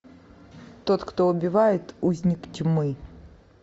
тот кто убивает узник тьмы